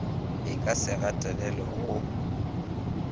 e ka se gatelelwe go